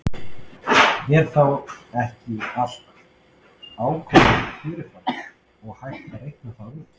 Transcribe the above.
er þá ekki allt ákveðið fyrir fram og hægt að reikna það út